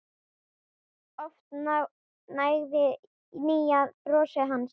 Oft nægði hlýja brosið hans.